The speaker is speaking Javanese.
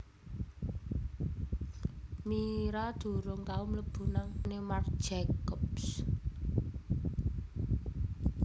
Mira durung tau mlebu nang tokone Marc Jacobs